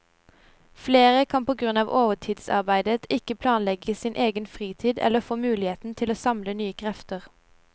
Flere kan på grunn av overtidsarbeidet ikke planlegge sin egen fritid eller få muligheten til å samle nye krefter.